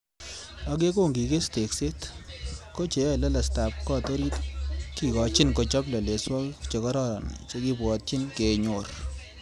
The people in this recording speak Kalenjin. Ak yon kokiges tekset, ko cheyoe lelestab got orit kikochin kochob leleswokik chekororon chekibwotyin kenyor.